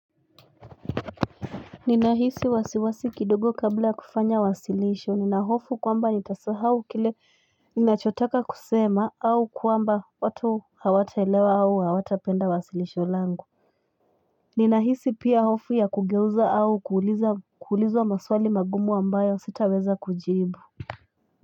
Ninahisi wasiwasi kidogo kabla ya kufanya wasilisho ninahofu kwamba nitasahau kile ninachotaka kusema au kwamba watu hawataelewa au hawatapenda wasilisho langu Ninahisi pia hofu ya kugeuza au kuuliza kuulizawa maswali magumu ambayo sita weza kujibu.